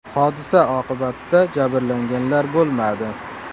Hodisa oqibatida jabrlanganlar bo‘lmadi.